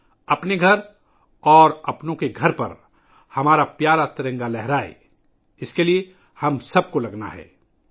ہم سب کو اپنے پیارے ترنگے کو اپنے گھروں اور اپنے پیاروں کے گھروں پر لہرانے کے لئے جمع ہونا ہے